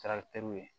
Kɛra teriw ye